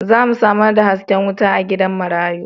Za mu samar da haske wuta a gidan marayu.